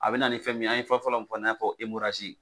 A bi na ni fɛn min ye an ye fɔlɔlɔ min fɔ e n'a fɔ emorazi